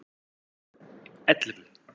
ellefu